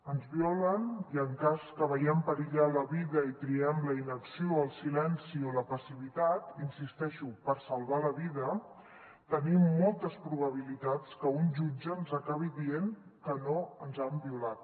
ens violen i en cas que veiem perillar la vida i triem la inacció el silenci o la passivitat hi insisteixo per salvar la vida tenim moltes probabilitats que un jutge ens acabi dient que no ens han violat